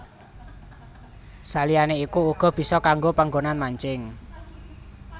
Saliyané iku uga bisa kanggo panggonan mancing